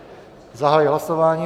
Zahajuji hlasování.